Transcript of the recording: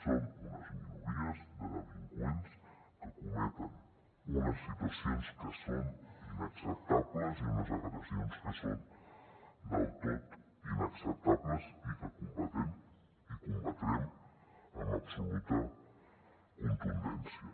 són unes minories de delinqüents que cometen unes situacions que són inacceptables i unes agressions que són del tot inacceptables i que combatem i combatrem amb absoluta contundència